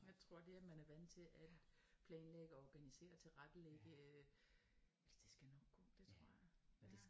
Jeg tror at det at man er vant til at planlægge organisere tilrettelægge øh altså det skal nok gå det tror jeg